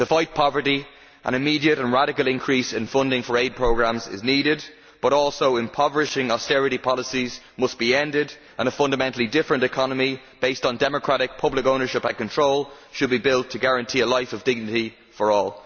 To fight poverty an immediate and radical increase in funding for aid programmes is needed but also impoverishing austerity policies must be ended and a fundamentally different economy based on democratic public ownership and control should be built to guarantee a life of dignity for all.